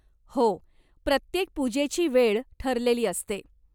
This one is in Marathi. हो, प्रत्येक पुजेची वेळ ठरलेली असते.